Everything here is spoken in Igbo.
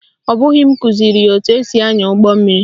Ọ bụghị m kụziri ya etu esi ányà ụgbọmmiri